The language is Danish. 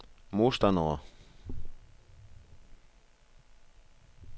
modstandere